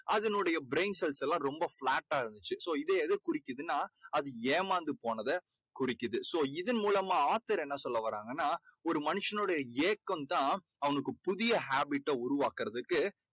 அதனுடைய brain cells செல்லாம் ரொம்ப flat டா இருந்துச்சு. so இது எதைக் குறிக்கிதுன்னா அது ஏமாந்து போனதை குறிக்குது. so இதன் மூலமா author என்ன சொல்ல வராங்கன்னா ஒரு மனுஷனுடைய ஏக்கம் தான் அவனுக்கு புதிய habit ட உருவாக்கறதுக்கு